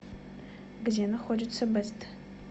где находится бэст